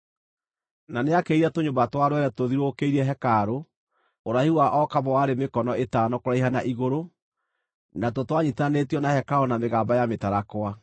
Na nĩakĩrĩire tũnyũmba twa rwere tũthiũrũkĩirie hekarũ, ũraihu wa o kamwe warĩ mĩkono ĩtano kũraiha na igũrũ, natuo twanyiitithanĩtio na hekarũ na mĩgamba ya mĩtarakwa.